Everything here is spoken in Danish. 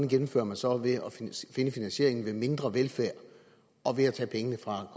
gennemfører man så ved at finde finansieringen ved mindre velfærd og ved at tage pengene fra